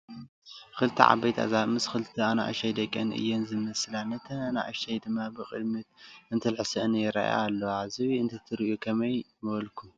2+ ዓበየቲ ኣዛብእ ምስ 2+ ኣናእሽተይ ደቀን እየን ዝመስላ ነተን ኣናእሽተያት ድማ ብቕድሚተን እንትልሕሰአን ይረአያ ኣለዋ፡፡ ዝብኢ እንተትሪኡ ከመይ ንበልኩም?